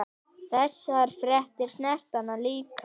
Þessar fréttir snerta hann líka.